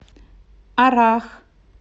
аррах